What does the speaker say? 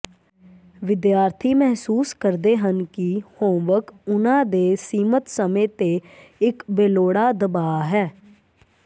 ਵਿਦਿਆਰਥੀ ਮਹਿਸੂਸ ਕਰਦੇ ਹਨ ਕਿ ਹੋਮਵਰਕ ਉਹਨਾਂ ਦੇ ਸੀਮਤ ਸਮੇਂ ਤੇ ਇੱਕ ਬੇਲੋੜਾ ਦਬਾਅ ਹੈ